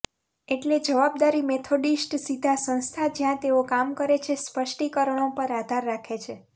એટલે જવાબદારી મેથોડિસ્ટ સીધા સંસ્થા જ્યાં તેઓ કામ કરે છે સ્પષ્ટીકરણો પર આધાર રાખે છે